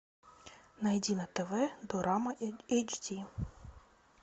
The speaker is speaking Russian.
найди на тв дорама эйч ди